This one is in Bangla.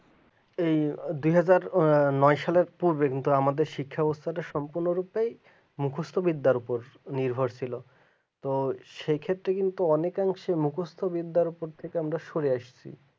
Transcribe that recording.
এই দু হাজার নয় সালের ঐদিনটা আমাদের শিক্ষা ব্যবস্থা সম্পূর্ণরূপে মুখস্ত ওপর নির্ভরশীল ছিল তো সে ক্ষেত্রে কিন্তু মুখস্ত বিদ্যার কাছ থেকে আমরা সরে আসিছি